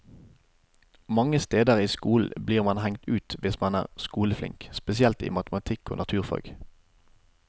Mange steder i skolen blir man hengt ut hvis man er skoleflink, spesielt i matematikk og naturfag.